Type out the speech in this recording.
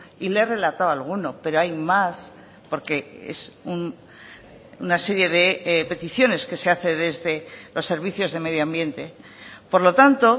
y le he relatado alguno pero hay más porque es una serie de peticiones que se hace desde los servicios de medioambiente por lo tanto